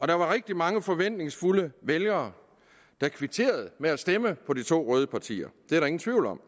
der var rigtig mange forventningsfulde vælgere der kvitterede ved at stemme på de to røde partier det er der ingen tvivl om